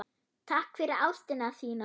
Takk fyrir ástina þína.